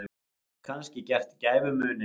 Kannski gert gæfumuninn.